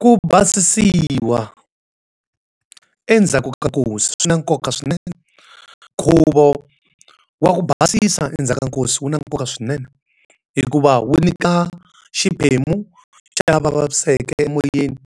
Ku basisiwa endzhaku ka nkosi swi na nkoka swinene. Nkhuvo wa ku basisa endzhaku ka nkosi wu na nkoka swinene. Hikuva wu nyika xiphemu xa lava vavisekeke emoyeni,